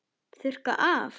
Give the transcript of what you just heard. Þurrka af.